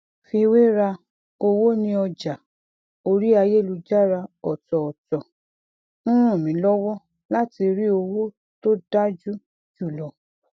fiwéra owó ní ọjà orí ayélujára ọtọọtọ ń ran mí lọwọ láti rí owó tó dájú jùlọ